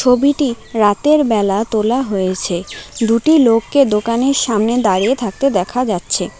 ছবিটি রাতের বেলা তোলা হয়েছে দুটি লোককে দোকানের সামনে দাঁড়িয়ে থাকতে দেখা যাচ্ছে।